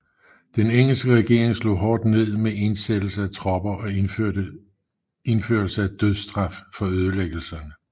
Den engelske regering slog hårdt ned med indsættelse af tropper og indførelse af dødsstraf for ødelæggelserne